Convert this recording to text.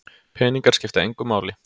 Peningar skipta engu máli